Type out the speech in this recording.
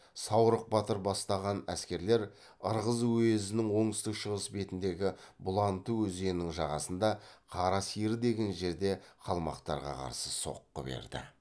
саурық батыр бастаған әскерлер ырғыз уезінің оңтүстік шығыс бетіндегі бұланты өзенінің жағасында қара сиыр деген жерде қалмақтарға қарсы соққы берді